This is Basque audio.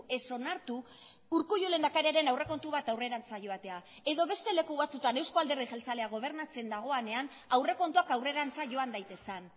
ez onartu urkullu lehendakariaren aurrekontu bat aurrerantz joatea edo beste leku batzutan euzko alderdi jeltzalea gobernatzen dagoenean aurrekontuak aurrerantz joan daitezen